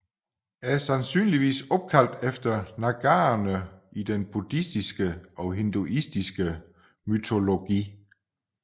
Er sandsynligvis opkaldt efter Nagaerne i den Buddhistiske og Hinduistiske mytologi